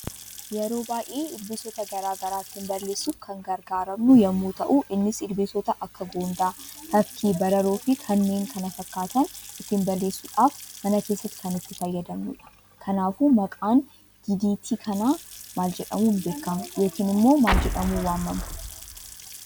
Yeroo baay'ee ilbiisoota garaagaraa ittin balleessuuf kan gargaaramnu yemmuu ta'u, innis ilbiisoota akka goondaa, tafkii, bararoo, fi kanneen kana, fakkatan ittin balleessuudhaf mana keessatti kan itti fayyadamnudha. Kanaafuu Maqaan didiitii kana maal jedhamun beekama yookiin immoo maal jedhamun waamama?